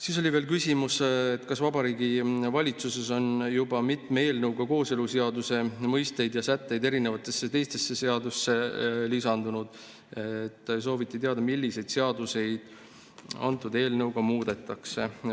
Siis oli küsimus, et kuna Vabariigi Valitsuses on juba mitme eelnõuga kooseluseaduse mõisteid ja sätteid erinevatesse teistesse seadustesse lisatud, siis sooviti teada, milliseid seaduseid antud eelnõuga muudetakse.